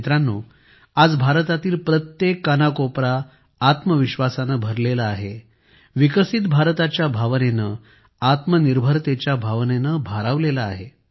मित्रांनो आज भारतातील प्रत्येक कानाकोपरा आत्मविश्वासाने भरलेला आहे विकसित भारताच्या भावनेने आत्मनिर्भरतेच्या भावनेने भारावलेला आहे